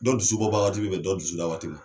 Dɔ dusubɔ ba wagati be bɛn dɔ dusuda waati ma